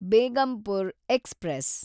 Begampur express